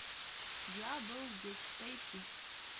я был здесь поищи